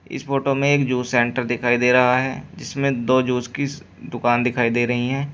इस फोटो में एक जूस सेंटर दिखाई दे रहा है जिसमें दो जूस की दुकान दिखाई दे रही हैं।